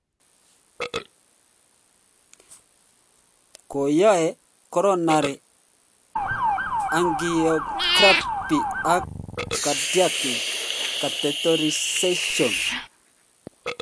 Koyoe coronary angiography ak cardiac catheterization.